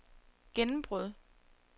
gennembrud